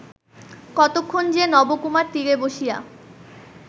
কতক্ষণ যে নবকুমার তীরে বসিয়া